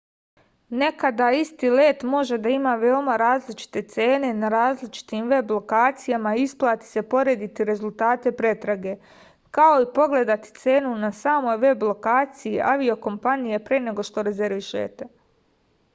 nekada isti let može da ima veoma različite cene na različitim veb lokacijama i isplati se porediti rezultate pretrage kao i pogledati cenu na samoj veb lokaciji aviokompanije pre nego što rezervišete